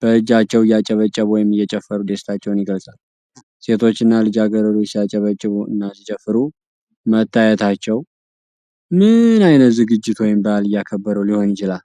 በእጃቸዉ እያጨበጨቡ ወይም እየጨፈሩ ደስታቸውን ይገልጻሉ። ሴቶቹ እና ልጃገረዶቹ ሲያጨበጭቡ እና ሲጨፍሩ መታየታቸው ምን ዓይነት ዝግጅት ወይም በዓል እያከበሩ ሊሆን ይችላል?